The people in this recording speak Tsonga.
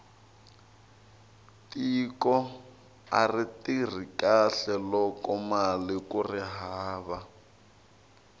tiko ari tirhi kahle lokomali kuri hava